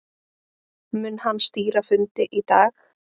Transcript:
Mun hann stýra fundi í dag